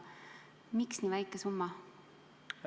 Miks nii väike summa?